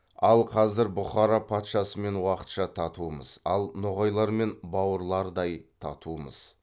ал қазір бұхара патшасымен уақытша татумыз ал ноғайлармен бауырлардай татумыз